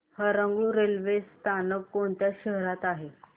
Harangul railway स्थानक कोणत्या शहरात आहे